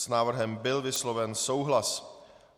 S návrhem byl vysloven souhlas.